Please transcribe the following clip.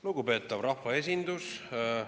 Lugupeetav rahvaesindus!